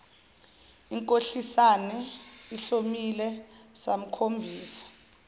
ikhohlisene ihlomile samkhombisa